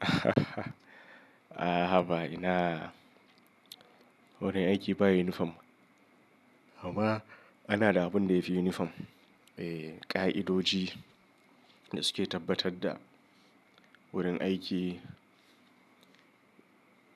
A'a, haka ba ina. Wurin aiki ba yunifom. Amma ana da abun da yafi yunifom. E, ƙa'idoji da suke tabbatar da wurin aiki